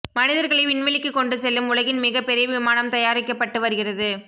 மனிதர்களை விண்வெளிக்கு கொண்டு செல்லும் உலகின் மிக பெரிய விமானம் தயாரிக்கப்பட்டு வருகிறது